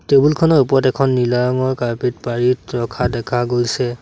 Table খনৰ ওপৰত এখন নীলা ৰঙৰ কাৰ্পেট পাৰি ৰখা দেখা গৈছে।